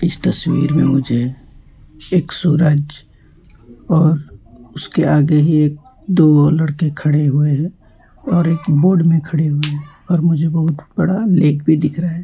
इस तस्वीर में मुझे एक सूरज और उसके आगे एक दो और लड़के खड़े हुए हैं और एक बोट में खड़े हुए है और मुझे बहोत बड़ा लेक भी दिख रहा है।